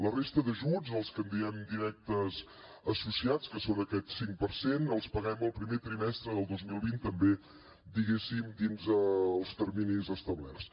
la resta d’ajuts els que en diem directes associats que són aquest cinc per cent els paguem el primer trimestre del dos mil vint també diguéssim dins els terminis establerts